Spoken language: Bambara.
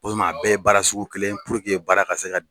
Walima a bɛɛ ye baara sugu kelen ye baara ka se ka.